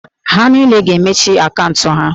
Ha niile ga-emechi akaụntụ ha!